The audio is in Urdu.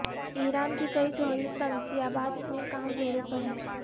ایران کی کئی جوہری تنصیابات میں کام زوروں پر ہے